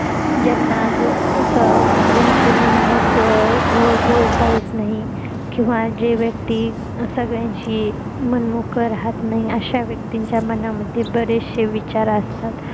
ज्यांना असं आज दुसऱ्यांशी मन मोकळ बोलता येत नाही किंवा जी व्यक्ति संगळ्यांशी मन मोकळ राहत नाही अश्या व्यक्तींच्या मनामध्ये बरेचशे विचार असतात